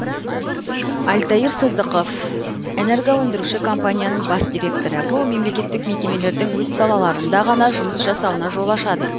альтаир сыздықов энергоөндіруші компанияның бас директоры бұл мемлекеттік мекемелердің өз салаларында ғана жұмыс жасауына жол ашады